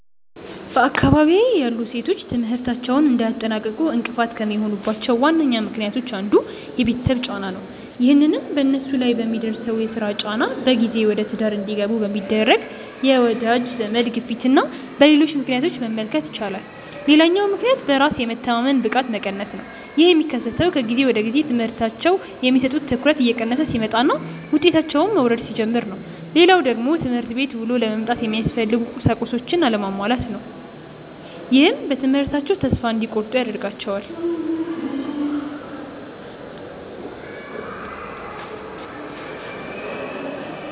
በአካባቢዬ ያሉ ሴቶች ትምህርታቸውን እንዳያጠናቅቁ እንቅፋት ከሚሆኑባቸው ዋነኛ ምክንያቶች አንዱ የቤተሰብ ጫና ነው። ይህንንም በነሱ ላይ በሚደርሰው የስራ ጫና፣ በጊዜ ወደትዳር እንዲገቡ በሚደረግ የወዳጅ ዘመድ ግፊትና በሌሎች ምክንያቶች መመልከት ይቻላል። ሌላኛው ምክንያት በራስ የመተማመን ብቃት መቀነስ ነው። ይህ የሚከሰተው ከጊዜ ወደጊዜ ለትምህርታቸው የሚሰጡት ትኩረት እየቀነሰ ሲመጣና ውጤታቸውም መውረድ ሲጀምር ነው። ሌላው ደግሞ ትምህርት ቤት ውሎ ለመምጣት የሚያስፈልጉ ቁሳቁሶች አለመሟላት ነው። ይህም በትምህርታቸው ተስፋ እንዲቆርጡ ያደርጋቸዋል።